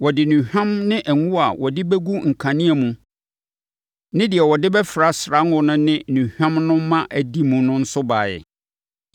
Wɔde nnuhwam ne ngo a wɔde bɛgu nkanea mu ne deɛ wɔde bɛfra srango no ne nnuhwam no ma adi mu no nso baeɛ.